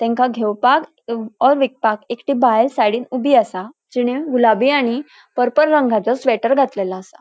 त्यांका घेवपाक ओर विकपाक एक बायल सायडींन ऊबी असा. जीणे गुलाबी आणि पर्पल रंगाचो स्वेटर घातलेलो असा.